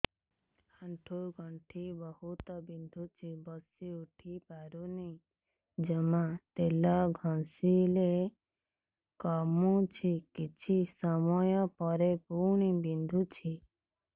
ଆଣ୍ଠୁଗଣ୍ଠି ବହୁତ ବିନ୍ଧୁଛି ବସିଉଠି ପାରୁନି ଜମା ତେଲ ଘଷିଲେ କମୁଛି କିଛି ସମୟ ପରେ ପୁଣି ବିନ୍ଧୁଛି